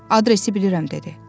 Adresi bilirəm dedi.